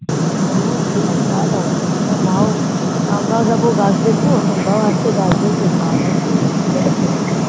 ও ঠিক আছে তাহলে আবার কি তোমার মাও আমরা যাবো গাছ দেখবো তোমরাও আসবে গাছ দেখবে খাওয়া দাওয়া আসবে